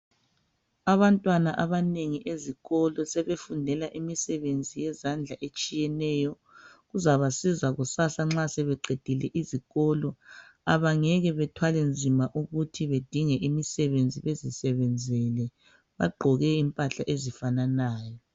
Abantwana abanengi ezikolo sebefundela imisebenzi yezandla etshiyeneyo Kuzabasiza kusasa nxa sebeqedile izikolo .Abangeke bathwale nzima ukuthi bedinge imisebenzi bezisebenzele . Bagqoke impahla ezifananayo